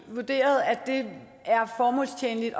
vurderet at det er formålstjenligt at